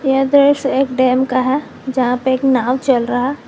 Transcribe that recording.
यह दृश्य एक डेम का है जहा पे एक नाव चल रहा--